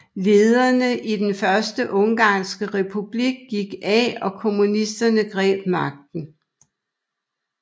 Lederne i Den første ungarske republik gik af og kommunisterne greb magten